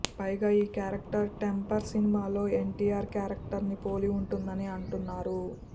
పైగా ఈ character Temper సినిమాలో ఎన్టీఆర్ క్యారెక్టర్ని పోలి ఉంటుందని అంటున్నారు